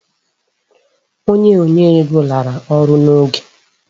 Onye nye ego lara ọrụ n"oge.